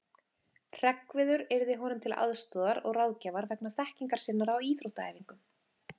Hreggviður yrði honum til aðstoðar og ráðgjafar vegna þekkingar sinnar á íþróttaæfingum.